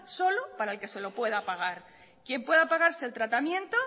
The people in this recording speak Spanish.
solo para el que se lo pueda pagar quien pueda pagarse el tratamiento